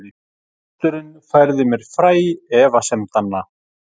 Pósturinn færði mér fræ efasemdanna